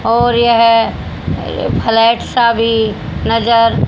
और यह अह फ्लैट सा भी नजर--